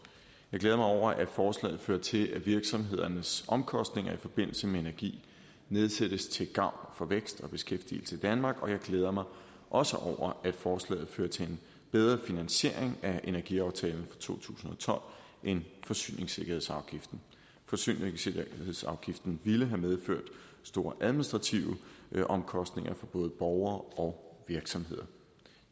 glæder mig over at forslaget fører til at virksomhedernes omkostninger i forbindelse med energi nedsættes til gavn for vækst og beskæftigelse i danmark og jeg glæder mig også over at forslaget fører til en bedre finansiering af energiaftalen fra to tusind og tolv end forsyningssikkerhedsafgiften forsyningssikkerhedsafgiften ville have medført store administrative omkostninger for både borgere og virksomheder